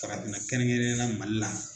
Farafinna kɛrɛnkɛrɛnyala Mali la